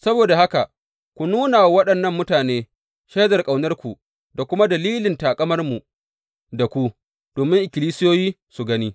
Saboda haka, ku nuna wa waɗannan mutane shaidar ƙaunarku, da kuma dalilin taƙamarmu da ku, domin ikkilisiyoyi su gani.